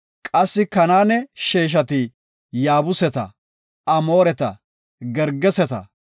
Qassi Kanaane sheeshati Yaabuseta, Amooreta, Gergeseta,